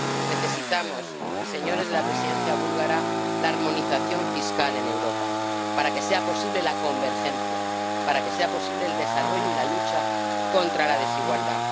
Necesitamos, señores de la Presidencia búlgara, la armonización fiscal en Europa para que sea posible la convergencia, para que sea posible el desarrollo y la lucha contra la desigualdad.